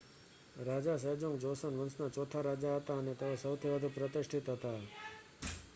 રાજા Sejong Joseon વંશના ચોથા રાજા હતા અને તેઓ સૌથી વધુ પ્રતિષ્ઠિત હતા